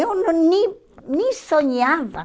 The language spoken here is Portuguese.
Eu nem nem sonhava.